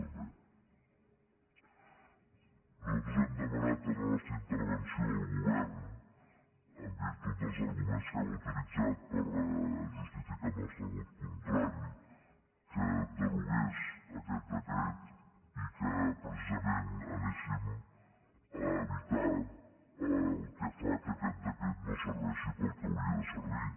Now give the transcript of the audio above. nosaltres hem demanat en la nostra intervenció al govern en virtut dels arguments que hem utilitzat per justificar el nostre vot contrari que derogués aquest decret i que precisament anéssim a evitar el que fa que aquest decret no serveixi per al que hauria de servir